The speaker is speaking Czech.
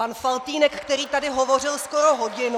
Pan Faltýnek, který tady hovořil skoro hodinu.